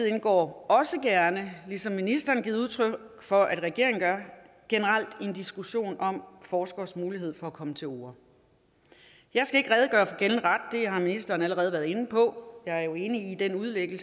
indgår også gerne ligesom ministeren har givet udtryk for at regeringen gør generelt i en diskussion om forskeres mulighed for at komme til orde jeg skal ikke redegøre for gældende ret det har ministeren allerede været inde på jeg er enig i den udlægning